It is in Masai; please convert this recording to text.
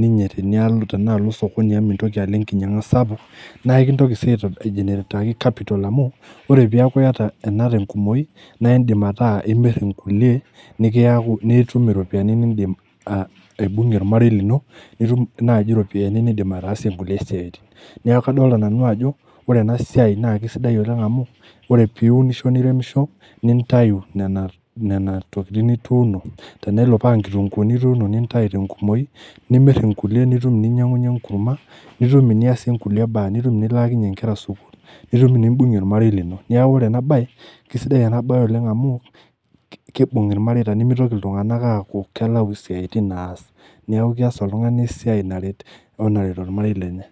ninye tenialo tena alo osokoni amu mintoki alo enkinyang'a sapuk, nae kintoki sii aitob aigenerataki capital amu ore piaku iyata ena te nkumoi nae indim ataa imir nkulie nekiyaku nitum iropiani niindim aa aibung'ie ormarei lino, nitum naaji ropiani niindim ataasie nkulie siaitin. Neeku kadolta nanu ajo ore ena siai naake sidai oleng' amu ore piunisho niremisho nintayu nena nena tokitin nituuno, tenelo paa nkitung'uuni ituuno nintayu te nkumoi nimir nkulie nitum ninyang'unye enkurma, nitum iniaisie nkulie baa, nitum iniilaakinye nkera sukuul nitum inimbung'ie ormarei lino. Neeku ore ena baye, kesidai ena baye oleng' amu ki kiibung' irmareita nemitoki iltung'anak aaku kelau siaitin naas, neeku kees oltung'ani esiai naret we naret ormarei lenye.